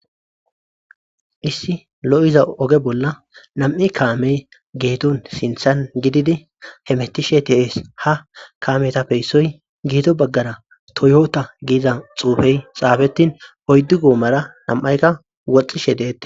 issi lo7iza oge bolla nam7i kaamey geedon sinthan gididi hemettishe de7ees ha kaametape issoy geede baggara toyota giiza xuufey xaafetin oyddu goomara nam7aykka woxxishe deette